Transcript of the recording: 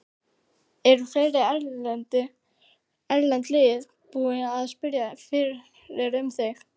Eru fleiri erlend lið búin að spyrjast fyrir um þig?